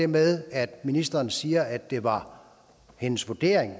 med at ministeren siger at det var hendes vurdering